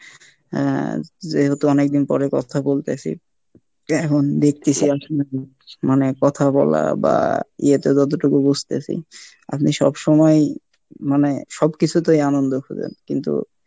হ্যাঁ যেহেতু অনেকদিন পরে কথা বলতেছি এখন দেখতেছি মানে কথা বলা বা ইয়েতে যতটুকু বুজতেছি আপনি সবসময় মানে সব কিছুতেই আনন্দ খুজেঁন কিন্তু